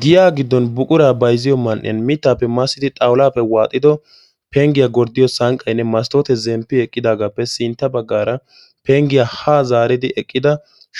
giyaa giddon buquraa baiziyo man77iyan mittaappe massidi xawulaappe waaxido penggiyaa gorddiyo sanqqainne mastoote zemppi eqqidaagaappe sintta baggaara penggiyaa haa zaaridi eqqida